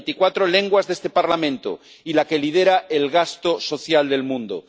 la de las veinticuatro lenguas de este Parlamento y la que lidera el gasto social en el mundo.